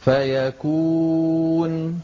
فَيَكُونُ